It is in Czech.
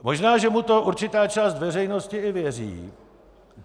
Možná že mu to určitá část veřejnosti i věří.